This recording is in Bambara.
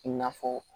I n'a fɔ